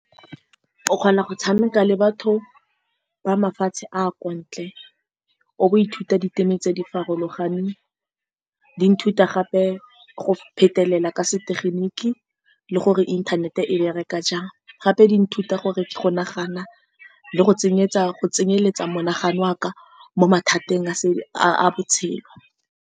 O kgona go tshameka le batho ba mafatshe a a kwa ntle, o bo o ithuta diteme tse di farologaneng. Di nthuta gape go phetelela ka se tegeniki le gore inthanete e bereka jang. Gape di nthuta gore go nagana le go tsenyetsa, go tsenyeletsa monagano wa ka mo mathateng a a-a botshelo.